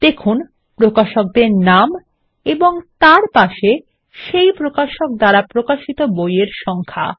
দেখুন প্রকাশকদের নাম এবং তার পাশে সেই প্রকাশক দ্বারা প্রকাশিত বই এর সংখ্যা